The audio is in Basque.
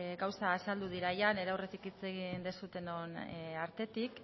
gauza azaldu dira nire aurretik hitz egin duzuenon artetik